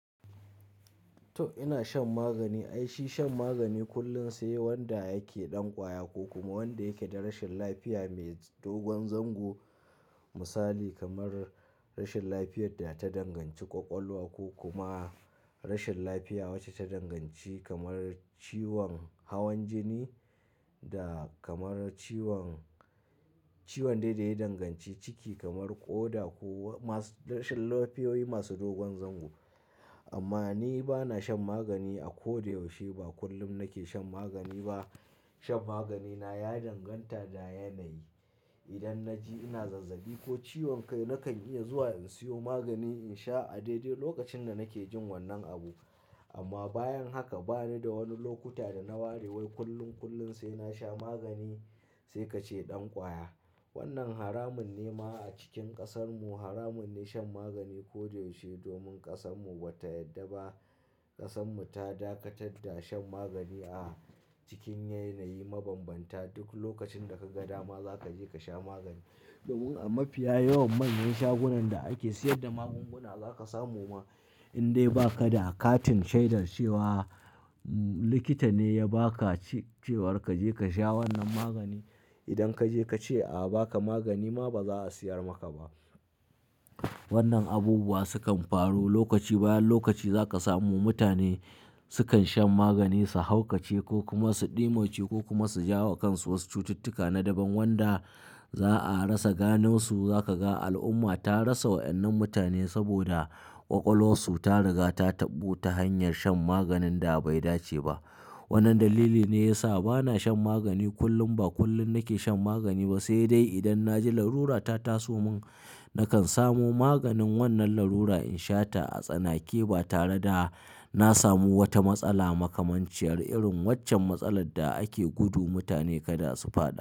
To ina shan magani. Ai shi shan magani kullum sai wanda yake ɗan ƙwaya ko kuma wanda yake da rashin lafiya mai dogon zango. Misali kamar rashin lafiyar da ta danganci ƙwaƙwalwa ko kuma rashin lafiya wacce ta danganci kamar ciwon hawan jini da kamar ciwon, ciwon daidai danganci ciki kamar ƙoda ko masu rashin lafiyoyi masu dogon zango. Amma ni bana shan magani a ko da yaushe, ba kullum nake shan magani ba. Shan magani na ya danganta da yanayi. Idan na ji ina zazzabi ko ciwon kai nakan iya zuwa in siyo magani in sha a daidai lokacin da nake jin wannan abu. Amma bayan haka bani da wani lokuta da na ware wai kullun kullum sai na sha magani sai ka ce ɗan ƙwaya. Wannan haramun ne ma a cikin ƙasarmu. Haramun ne shan magani ko da yaushe domin ƙasarmu ba ta yadda ba. Ƙasarmu ta dakatar da shan magani a cikin yanayi mabambanta. Duk lokacin da ka ga dama za ka je ka sha magani. Domin a mafiya yawan manyan shagunan da ake sayar da magunguna zaka samu ma in dai ba ka da akatin shaidar cewa likita ne ya ba ka ce, cewar ka je ka sha wannan magani. Idan ka je ka ce a ba ka magani ma ba za a siyar maka ba. Wannan abubuwa sukan faru lokaci bayan lokaci za ka samu mutane sukan shan maganin su haukace ko kuma su ɗimauce ko kuma su ja wa kansu wasu cututtuka na daban wanda za a rasa gano su. Za ka ga al'umma ta rasa wa'ennan mutane saboda ƙwaƙwalwarsu ta riga ta taɓu ta hanyar shan maganin da bai dace ba. Wannan dalili ne ya sa bana shan magani kullum, ba kullum nake shan magani ba sai dai idan na ji larura ta taso mun, nakan samu maganin wannan larura in sha ta a tsanake ba tare da na samu wata matsala makamanciyar irin waccen matsalar da ake gudu mutane kada su faɗi.